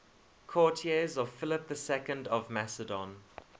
courtiers of philip ii of macedon